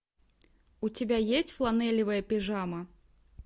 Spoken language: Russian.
у тебя есть фланелевая пижама